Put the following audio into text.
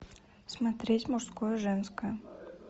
смотреть мужское женское